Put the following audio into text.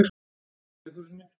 sigurði eyþórssyni